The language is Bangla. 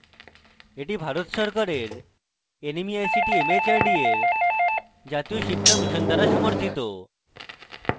এটি ভারত সরকারের nmeict mhrd এর জাতীয় শিক্ষা মিশন দ্বারা সমর্থিত